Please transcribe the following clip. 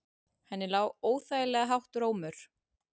Henni lá óþægilega hátt rómur.